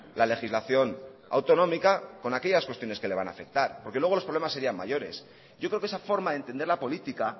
la legislación autonómica con aquellas cuestiones que le van a afectar porque luego los problemas serían mayores yo creo que esa forma de entender la política